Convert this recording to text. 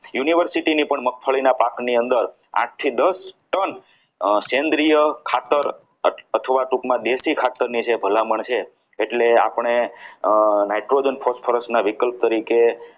university ની પણ મગફળીના પાકની અંદર આઠ થી દસ ટન અર સેન્દ્રીય ખાતર અથવા ટૂંકમાં દેશી ખાતરની જે ભલામણ છે એટલે આપણે અમ nitrogen phosphorus ના વિકલ્પ તરીકે